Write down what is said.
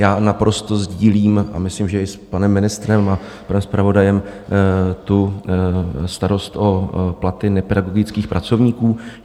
Já naprosto sdílím, a myslím, že i s panem ministrem a panem zpravodajem, tu starost o platy nepedagogických pracovníků.